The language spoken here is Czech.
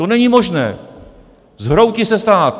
To není možné, zhroutí se stát.